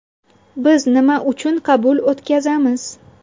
Biz nima uchun qabul o‘tkazamiz.